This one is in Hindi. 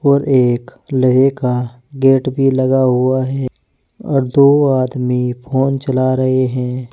और एक लोहे का गेट भी लगा हुआ है और दो आदमी फोन चला रहे हैं।